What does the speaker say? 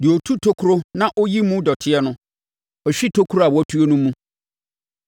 Deɛ ɔtu tokuro na ɔyi mu dɔteɛ no hwe tokuro a watu no mu.